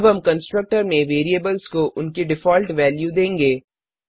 अब हम कंस्ट्रक्टर में वेरिएबल्स को उनकी डिफॉल्ट वैल्यू देंगे